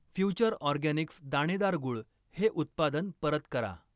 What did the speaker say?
Future Organics दाणेदार गूळ हे उत्पादन परत करा.